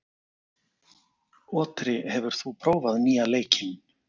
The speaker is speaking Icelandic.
Otri, hefur þú prófað nýja leikinn?